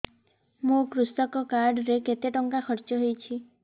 ମୋ କୃଷକ କାର୍ଡ ରେ କେତେ ଟଙ୍କା ଖର୍ଚ୍ଚ ହେଇଚି